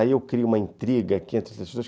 Aí eu crio uma intriga aqui entre essas pessoas.